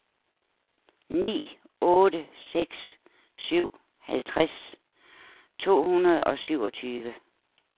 ni otte seks syv halvtreds to hundrede og syvogtyve